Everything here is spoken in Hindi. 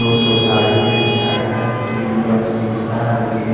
तो ठो गाडी है टायर है सीसा है के--